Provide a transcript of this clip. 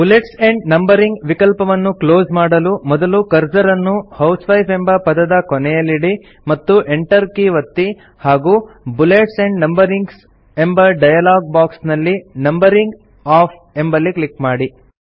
bullets and numbering ವಿಕಲ್ಪವನ್ನು close ಮಾಡಲು ಮೊದಲು ಕರ್ಸರ್ ಅನ್ನು ಹೌಸ್ವೈಫ್ ಎಂಬ ಪದದ ಕೊನೆಯಲ್ಲಿಡಿ ಮತ್ತು enter ಕೀ ಒತ್ತಿ ಹಾಗೂ ಬುಲೆಟ್ಸ್ ಆಂಡ್ ನಂಬರಿಂಗ್ ಎಂಬ ಡಯಲಾಗ್ ಬಾಕ್ಸ್ ನಲ್ಲಿ ನಂಬರಿಂಗ್ ಒಎಫ್ಎಫ್ ಎಂಬಲ್ಲಿ ಕ್ಲಿಕ್ ಮಾಡಿ